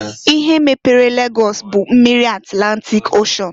Ihe mepere Lagọs bụ mmiri Atlantịk Oshen.